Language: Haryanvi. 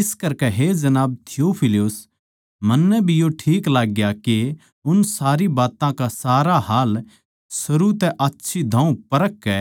इस करकै हे जनाब थियुफिलुस मन्नै भी यो ठीक लाग्या के उन सारी बात्तां का सारा हाल सरू तै आच्छी दाहूं परख कै